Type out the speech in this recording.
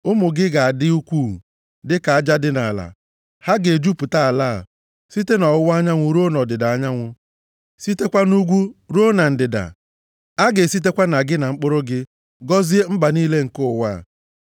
Ụmụ gị ga-adị ukwuu, dị ka aja dị nʼala. Ha ga-ejupụta ala a, site nʼọwụwa anyanwụ ruo nʼọdịda anyanwụ, sitekwa nʼugwu ruo na ndịda. A ga-esitekwa na gị na mkpụrụ gị, gọzie mba niile nke ụwa a.